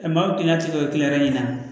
Ɛ maa o kilan ti kila